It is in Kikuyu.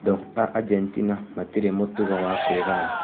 "Andũ a Argentina matirĩ mũtugo wa kwĩgaya".